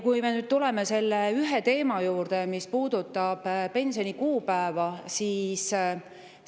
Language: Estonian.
Tuleme nüüd selle teema juurde, mis puudutab pensionide kuupäeva.